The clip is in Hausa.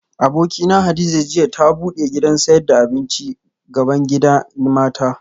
Abokina Hadiza jiya ta bude gidan sayad da abinci bgaban gidan mata